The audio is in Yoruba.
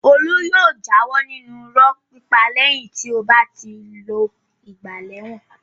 Olú yóò jáwọ́ nínú irọ́ pípa lẹ́yìn tó bá ti lo ìgbà lẹ́wọ̀n.